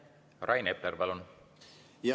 Rain Epler, palun!